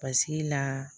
Paseke la